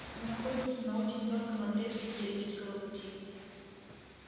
мы находимся на очень тонком отрезке исторического пути